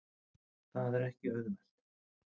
Það er ekki auðvelt.